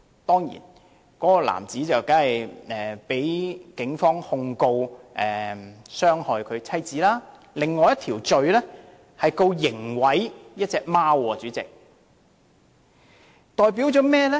事後該名男子除了被警方控告傷害妻子外，亦被控一項刑事毀壞貓隻的罪名。